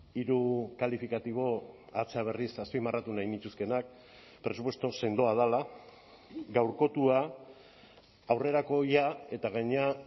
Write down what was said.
hiru kalifikatibo hatza berriz azpimarratu nahi nituzkeenak presupuesto sendoa dela gaurkotua aurrerakoia eta gainera